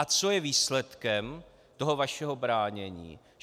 A co je výsledkem toho vašeho bránění?